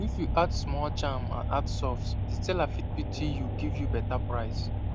if you add small charm and act soft the seller fit pity you give you better price